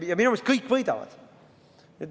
Ja minu meelest kõik võidavad.